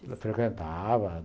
Eu frequentava.